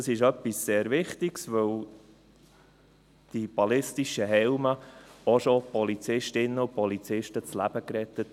Das ist etwas sehr Wichtiges, denn die ballistischen Helme haben auch schon Polizistinnen und Polizisten das Leben gerettet.